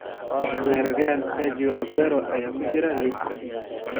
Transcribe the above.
Weeraryahan Sergio Aguero ayaa ku jira liiskaas.